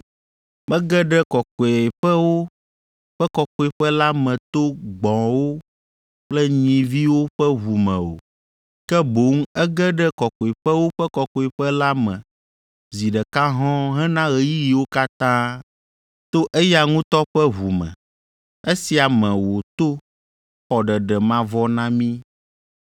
Mege ɖe Kɔkɔeƒewo ƒe Kɔkɔeƒe la me to gbɔ̃wo kple nyiviwo ƒe ʋu me o, ke boŋ ege ɖe Kɔkɔeƒewo ƒe Kɔkɔeƒe la me zi ɖeka hɔ̃ɔ hena ɣeyiɣiwo katã to eya ŋutɔ ƒe ʋu me, esia me wòto xɔ ɖeɖe mavɔ na mí.